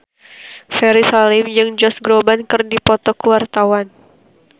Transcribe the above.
Ferry Salim jeung Josh Groban keur dipoto ku wartawan